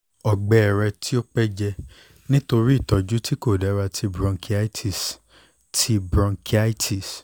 ọgbẹ rẹ ti o pẹ jẹ nitori itọju ti ko dara ti bronchitis ti bronchitis